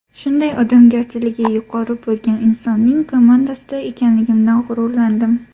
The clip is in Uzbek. Shunday odamgarchiligi yuqori bo‘lgan insonning komandasida ekanligimdan g‘ururlandim.